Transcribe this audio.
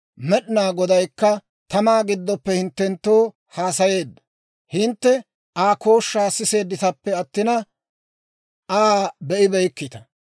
Med'inaa Godaykka tamaa gidoppe hinttenttoo haasayeedda; Hintte Aa kooshshaa siseedditappe attina, Aa be'ibeykkita.